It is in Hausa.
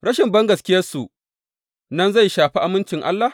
Rashin bangaskiyarsu nan zai shafe amincin Allah?